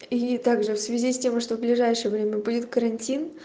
и также в связи с тем что в ближайшее время будет карантин